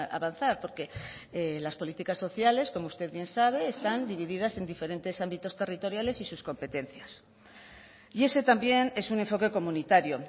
avanzar porque las políticas sociales como usted bien sabe están divididas en diferentes ámbitos territoriales y sus competencias y ese también es un enfoque comunitario